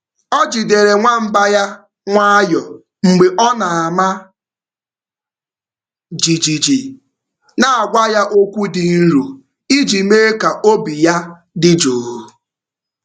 Ọ jidere nwamba ya nwayọọ mgbe ọ na-ama jijiji, na-agwa ya okwu dị nro iji mee ka obi ya dị jụụ.